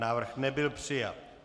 Návrh nebyl přijat.